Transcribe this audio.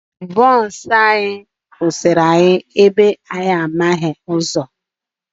Bọọsụ anyị kwụsịrị anyị ebe anyị na-anaghị